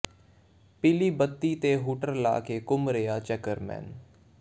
ਪੀਲੀ ਬੱਤੀ ਤੇ ਹੂਟਰ ਲਾ ਕੇ ਘੁੰਮ ਰਿਹਾ ਚੇਅਰਮੈਨ